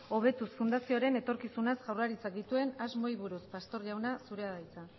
hobetuz fundazioren etorkizunaz jaurlaritzak dituen asmoei buruz pastor jauna zurea da hitza